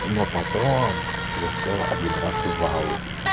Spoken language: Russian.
но потом я сел один раз в ауди